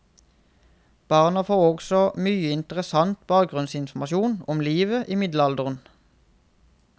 Barna får også mye interessant bakgrunnsinformasjon om livet i middelalderen.